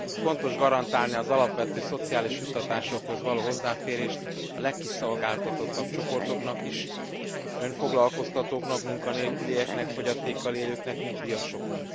Fontos garantálni az alapvető szociális juttatásokhoz való hozzáférést a legkiszolgáltatottabb csoportoknak is, önfoglalkoztatóknak, munkanélkülieknek, fogyatékkal élőknek, nyugdíjasoknak.